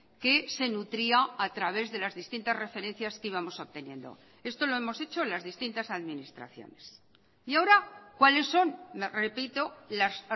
que se nutría a través de las distintas referencias que íbamos obteniendo esto lo hemos hecho en las distintas administraciones y ahora cuáles son repito las